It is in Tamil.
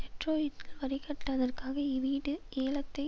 டெட்ரோயிட் வரி கட்டாதற்காக இவீடு ஏலத்தை